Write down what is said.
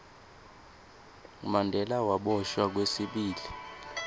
mandela waboshwa kwesibili